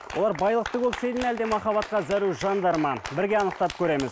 олар байлықты көксейді ме әлде махаббатқа зәру жандар ма бірге анықтап көреміз